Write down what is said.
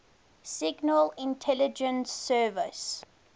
signal intelligence service